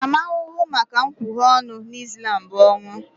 Ntaramahụhụ maka nkwughe ọnụ na Ịslam bụ ọnwụ